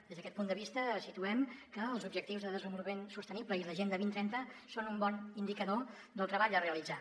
des d’a·quest punt de vista situem que els objectius de desenvolupament sostenible i l’agenda dos mil trenta són un bon indicador del treball a realitzar